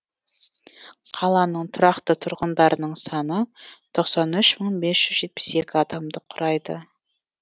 қаланың тұрақты тұрғындарының саны тоқсан үш мың бес жүз жетпіс екі адамды құрайды